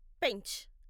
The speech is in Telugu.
పెంచ్